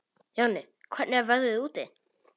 Jonni, hvernig er veðrið úti?